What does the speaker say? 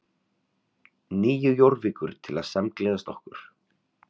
Nýju Jórvíkur til að samgleðjast okkur.